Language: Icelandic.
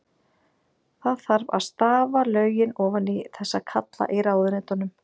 Það þarf að stafa lögin ofan í þessa kalla í ráðuneytunum.